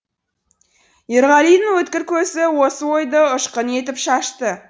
ерғалидың өткір көзі осы ойды ұшқын етіп шашты